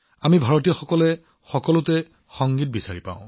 আমি ভাৰতীয়সকলে সকলোতে সংগীত বিচাৰি পাওঁ